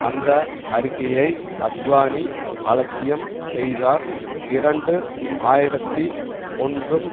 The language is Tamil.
அந்த அறிக்கையை அத்வானி அலட்சியம் செய்தார் இரண்டு ஆயிரத்தி ஒன்றும்